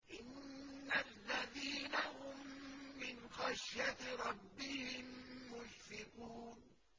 إِنَّ الَّذِينَ هُم مِّنْ خَشْيَةِ رَبِّهِم مُّشْفِقُونَ